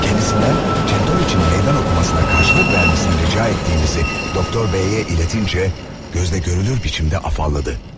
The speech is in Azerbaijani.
Kendisindən Çentoviçin meydan okumasına qarşılıq verməsini rica etdiyimizi Doktor Beyə iletincə, gözdə görünür biçimdə afalladı.